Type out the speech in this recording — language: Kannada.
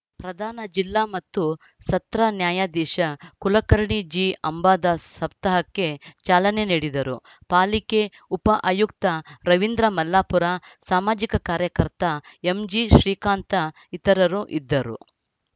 ಪ್ರಧಾನ ಜಿಲ್ಲಾ ಮತ್ತು ಸತ್ರ ನ್ಯಾಯಾಧೀಶ ಕುಲಕರ್ಣಿ ಜಿಅಂಬಾದಾಸ್‌ ಸಪ್ತಾಹಕ್ಕೆ ಚಾಲನೆ ನೀಡಿದರು ಪಾಲಿಕೆ ಉಪ ಆಯುಕ್ತ ರವೀಂದ್ರ ಮಲ್ಲಾಪುರ ಸಾಮಾಜಿಕ ಕಾರ್ಯಕರ್ತ ಎಂಜಿಶ್ರೀಕಾಂತ ಇತರರು ಇದ್ದರು